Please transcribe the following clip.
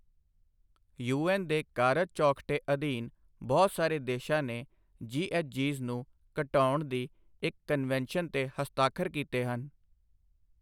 UN. ਦੇ ਕਾਰਜ ਚੌਖਟੇ ਅਧੀਨ ਬਹੁਤ ਸਾਰੇ ਦੇਸ਼ਾਂ ਨੇ ਜੀ.ਐਚ.ਜੀਜ਼ ਨੂੰ ਘਟਾਉਣ ਦੀ ਇਕ ਕਨਵੈਨਸ਼ਨ ਤੇ ਹਸਤਾਖਰ ਕੀਤੇ ਹਨ।